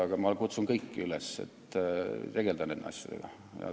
Aga ma kutsun kõiki üles tegelema nende asjadega!